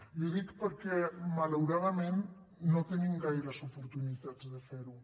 i ho dic perquè malauradament no tenim gaires oportunitats de fer ho